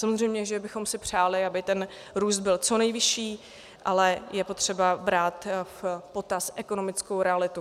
Samozřejmě že bychom si přáli, aby ten růst byl co nejvyšší, ale je potřeba brát v potaz ekonomickou realitu.